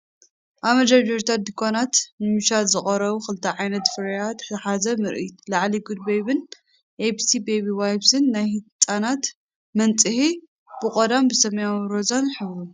ኣብ መደርደሪታት ድኳናት ንመሸጣ ዝቐረቡ ክልተ ዓይነት ፍርያት ዝሓዘ ምርኢት። ላዕሊ፡ "Good Baby"ን "abc baby wipes"ን ናይ ህጻናት መንጽሂ፡ ብቐንዱ ብሰማያውን ሮዛን ዝሕብሩ።